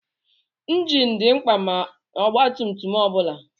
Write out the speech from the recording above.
Ịnjin dị mkpa n'ọgbatumtum ọ bụla.